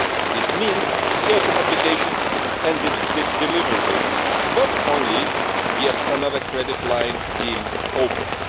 It means certain obligations and deliverables, not only yet another credit line being opened.